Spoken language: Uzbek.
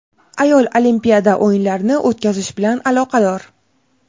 ayol Olimpiya o‘yinlarini o‘tkazish bilan aloqador.